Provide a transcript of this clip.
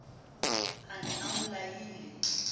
a ne a mo laile